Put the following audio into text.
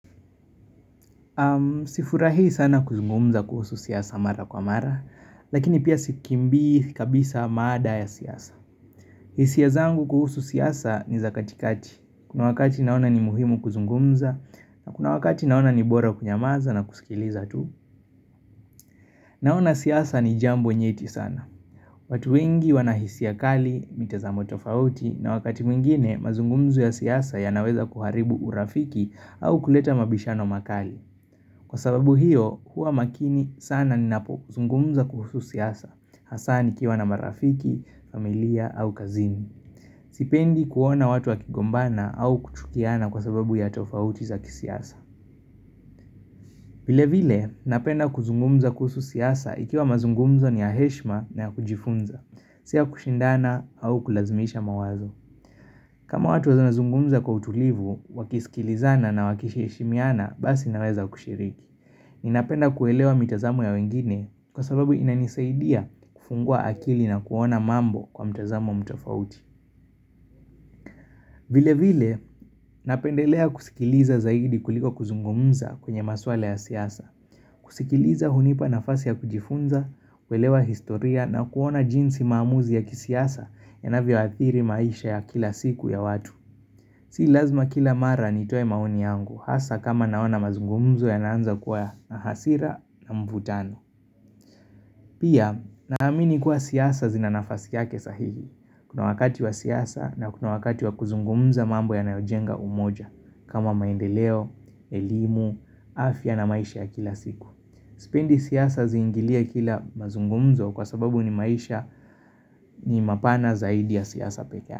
Sifurahii sana kuzungumza kuhusu siasa mara kwa mara, lakini pia sikimbii kabisa mada ya siasa. Hisia zangu kuhusu siasa ni za katikati. Kuna wakati naona ni muhimu kuzungumza, na kuna wakati naona ni bora kunyamaza na kusikiliza tu. Naona siasa ni jambo nyeti sana. Watu wengi wana hisia kali, mitazamo tofauti, na wakati mwingine mazungumzo ya siasa yanaweza kuharibu urafiki au kuleta mabishano makali. Kwa sababu hiyo, huwa makini sana ninapozungumza kuhusu siasa, hasaa nikiwa na marafiki, familia au kazini. Sipendi kuona watu wakigombana au kuchukiana kwa sababu ya tofauti za kisiasa. Vile vile, napenda kuzungumza kuhusu siasa ikiwa mazungumzo ni ya heshima na ya kujifunza, si ya kushindana au kulazimisha mawazo. Kama watu wanaweza zungumza kwa utulivu, wakisikilizana na wakisheshimiana, basi naweza kushiriki. Ninapenda kuelewa mitazamo ya wengine kwa sababu inanisaidia kufungua akili na kuona mambo kwa mtazamo mtofauti vile vile napendelea kusikiliza zaidi kuliko kuzungumza kwenye maswala ya siasa kusikiliza hunipa nafasi ya kujifunza, kuelewa historia na kuona jinsi maamuzi ya kisiasa yanavyo athiri maisha ya kila siku ya watu Si lazima kila mara nitoe maoni yangu, hasaa kama naona mazungumzo yanaanza kuwa na hasira na mvutano Pia, naamini kuwa siasa zina nafasi yake sahihi. Kuna wakati wa siasa na kuna wakati wa kuzungumza mambo yanayojenga umoja, kama maendeleo, elimu, afya na maisha ya kila siku. Sipendi siasa ziingilie kila mazungumzo kwa sababu ni maisha ni mapana zaidi ya siasa peke yake.